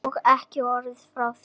Og ekki orð frá þér!